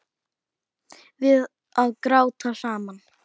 Við að gráta saman.